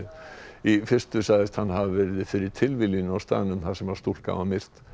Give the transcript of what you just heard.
í fyrstu sagðist hann hafa verið fyrir tilviljun á staðnum þar sem stúlkan var myrt